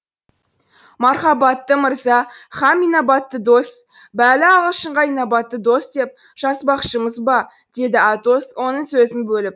мархабатты мырза һәм инабатты дос бәлі ағылшынға инабатты дос деп жазбақшымыз ба деді атос оның сөзін бөліп